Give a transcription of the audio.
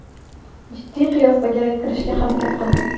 Jiddiy qiyofaga kirishga harakat qildim.